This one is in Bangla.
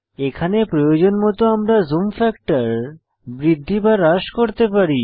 এখানে প্রয়োজন মত আমরা জুম ফ্যাক্টর বৃদ্ধি বা হ্রাস করতে পারি